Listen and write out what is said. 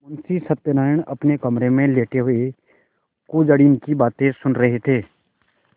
मुंशी सत्यनारायण अपने कमरे में लेटे हुए कुंजड़िन की बातें सुन रहे थे